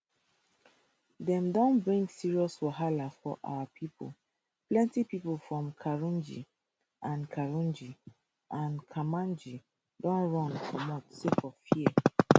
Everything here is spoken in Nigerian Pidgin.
dem don bring serious wahala for our pipo plenty pipo from karunji and karunji and kermanji don run comot sake of fear